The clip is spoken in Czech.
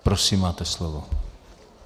Prosím, máte slovo.